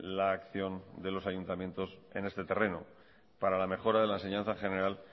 la acción de los ayuntamientos en este terreno para la mejora de la enseñanza general